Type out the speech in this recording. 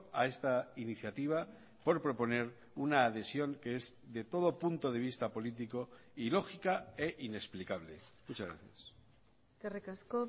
a esta iniciativa por proponer una adhesión que es de todo punto de vista político ilógica e inexplicable muchas gracias eskerrik asko